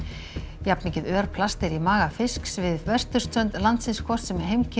jafnmikið örplast er í maga fisks við vesturströnd landsins hvort sem heimkynni